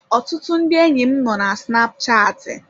Ọtụtụ ndị enyi m nọ na snapchatị.